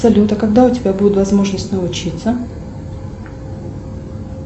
салют а когда у тебя будет возможность научиться